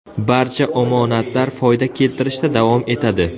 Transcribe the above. Barcha omonatlar foyda keltirishda davom etadi.